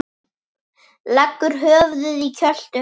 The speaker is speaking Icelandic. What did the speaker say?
Leggur höfuðið í kjöltu hennar.